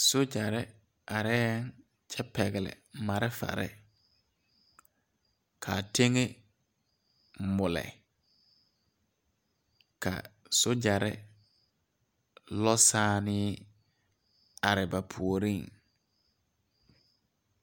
Sogyɛrre areɛɛŋ kyɛ pɛgle malfarre ka teŋɛŋ mulle ka sogyɛrre lɔ sããnee are ba puoriŋ.